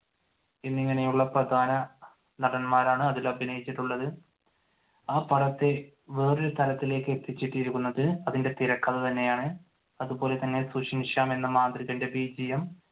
എന്നിങ്ങനെയുള്ള പ്രധാന നടന്മാരാണ് അതിൽ അഭിനയിച്ചിട്ടുള്ളത്. ആ പടത്തെ വേറെയൊരു തലത്തിലേക്ക് എത്തിച്ചിരിക്കുന്നത് അതിന്റെ തിരക്കഥ തന്നെയാണ്. അതുപോലെതന്നെ സുഷിന് ശ്യാം എന്ന